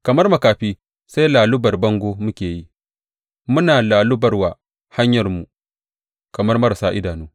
Kamar makafi, sai lallubar bango muke yi, muna lallubawar hanyarmu kamar marasa idanu.